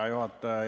Hea juhataja!